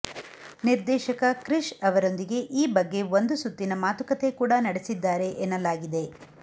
ನಿರ್ದೇಶಕ ಕ್ರಿಷ್ ಅವರೊಂದಿಗೆ ಈ ಬಗ್ಗೆ ಒಂದು ಸುತ್ತಿನ ಮಾತುಕತೆ ಕೂಡ ನಡೆಸಿದ್ದಾರೆ ಎನ್ನಲಾಗಿದೆ